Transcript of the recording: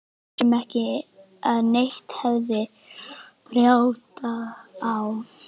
Við vissum ekki að neitt hefði bjátað á.